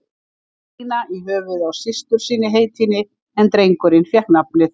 Gíslína í höfuðið á systur sinni heitinni, en drengurinn fékk nafnið